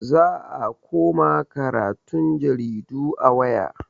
Za a koma karatun jaridu a waya.